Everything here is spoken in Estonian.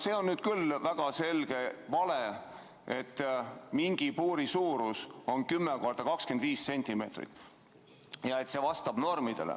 See on nüüd küll väga selge vale, et mingi puuri suurus on 10 x 25 cm ja et see vastab normidele.